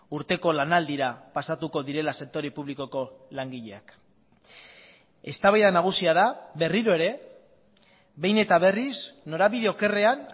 urteko lanaldira pasatuko direla sektore publikoko langileak eztabaida nagusia da berriro ere behin eta berriz norabide okerrean